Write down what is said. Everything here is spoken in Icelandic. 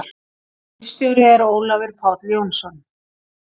Ritstjóri er Ólafur Páll Jónsson.